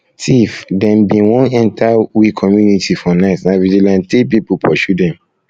tif dem bin wan enta we community for night na vigilantee pipu pursue dem